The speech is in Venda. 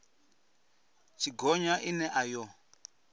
tshi gonya ine a yo